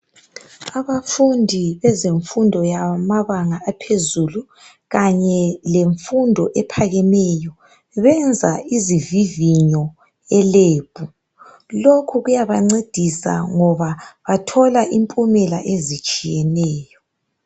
Abafundi bezemfundo yamabanga aphezulu kanye lemfundo ephakemeyo. Benza izivivinyo e Lab. Lokhu kuyabancedisa ngoba bathola impumela ezitshiyeneyo.